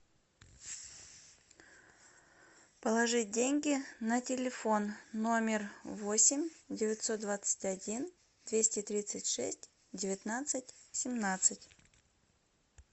положить деньги на телефон номер восемь девятьсот двадцать один двести тридцать шесть девятнадцать семнадцать